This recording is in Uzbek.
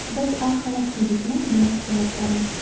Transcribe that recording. Biz oq xalat kiydikmi, demak javobgarmiz.